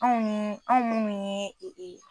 Anw mun anw munnu ye